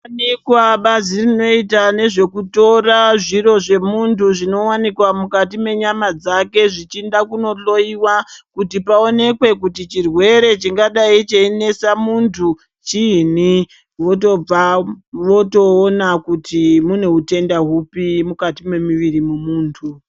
Pane bazi rinoita nezvekutora zviro zvemuntu zvinowanikwa mukati menyama dzake zvinochienda kunohloyiiwa kuti pawoneke kuti chirwere chingadai cheinesa muntu chiinyi, mwotobva motoona kuti mune utenda huri muviri mwemunhu.